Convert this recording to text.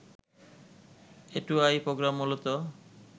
A two I program মূলত